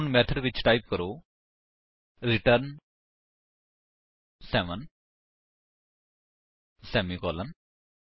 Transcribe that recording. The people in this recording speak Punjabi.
ਹੁਣ ਮੇਥਡ ਵਿੱਚ ਟਾਈਪ ਕਰੋ ਰਿਟਰਨ ਸੇਵੇਂ ਸੇਮੀਕਾਲਨ